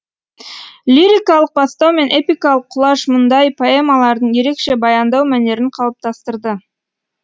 лирикалық бастау мен эпикалық құлаш мұндай поэмалардың ерекше баяндау мәнерін қалыптастырды